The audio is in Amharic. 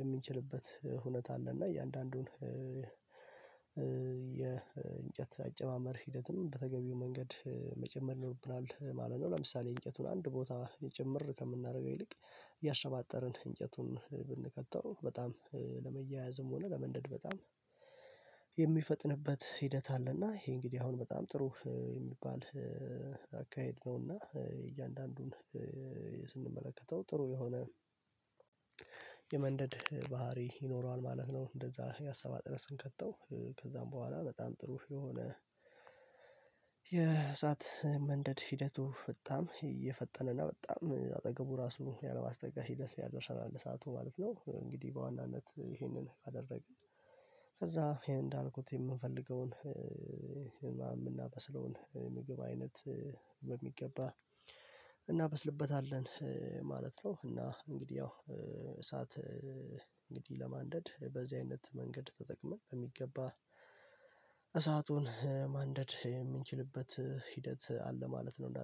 የምንችልበት ሁኔታ አለ እና የእያንዳንዱን የእንጨት አጨማመር ሂደትም በተገቢው መንገድ መጨመር ይኖርብናል ማለት ነው ለምሳሌ እንጨቱን አንድ ቦታ የጭምር ከምናደርገው ይልቅ እያሰባጠርን እንጨቱን ብንከተው በጣም ለመያያዝም ሆነ ለመንደድ በጣም የሚፈጥንበት ሂደት አለና ይሄ እንግዲህ አሁን በጣም ጥሩ የሚባል አካሄድ ነውና እያንዳንዱን ስንመለከተው ጥሩ የሆነ የመንደድ ባህሪ ይኖረዋል ማለት ነው እንደዛ እያሰባጠርነ ስንከተው ከዛም በኋላ በጣም ጥሩ የሆነ የእሳት መንደድ ሂደቱ በጣም እየፈጠነና በጣም አጠገቡ ራሱ ያለማስተካከል ሲደርስ ያደርሰናል እሳቱ ማለት ነው እንግዲህ በዋናነት ይሄንን ካደረግን ከዛ ይሄን እንዳልኩት የምንፈልገውን የምናበስለውን ምግብ አይነት በሚገባ እናበስልበታለን ማለት ነው እና ያው እሳት እንግዲህ ለማንደድ በዚህ አይነት መንገድ ተጠቅመን በሚገባ እሳቱን ማንደድ የምንችልበት ሂደት አለ ማለት ነው